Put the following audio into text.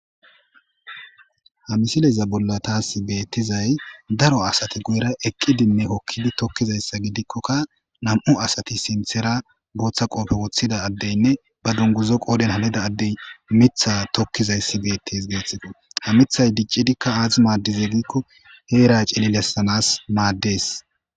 ha misileyza bolla taasi beettizay daro asati goyra eqqidinne kokkidi tokkizayssa gidikkokka nam7u asati sinthera booththa qoofe woththida addeynne ba dunguzo qoodhen halida addey mitha tokkizayssi beettes geetxifa ha mithay diccidikka aati maaddize giikko heera cinilessanas maaddees